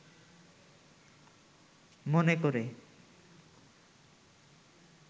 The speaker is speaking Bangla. মনে করে